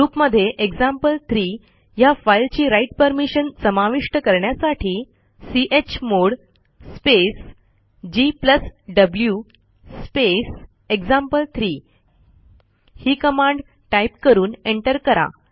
ग्रुपमध्ये एक्झाम्पल3 ह्या फाईलची राइट परमिशन समाविष्ट करण्यासाठी चमोड स्पेस gw स्पेस एक्झाम्पल3 ही कमांड टाईप करून एंटर करा